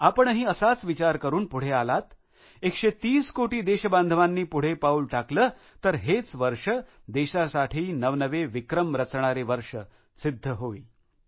आपणही असाच विचार करुन पुढे आलात 130 कोटी देशबांधवांनी पुढे पाउल टाकलं तर हेच वर्ष देशासाठी नवनवे विक्रम रचणारे वर्ष सिध्द होईल